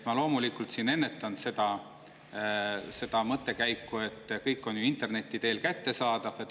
Ma loomulikult ennetan seda mõttekäiku, et kõik on ju interneti teel kättesaadav.